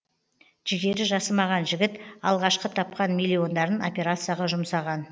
жігері жасымаған жігіт алғашқы тапқан миллиондарын операцияға жұмсаған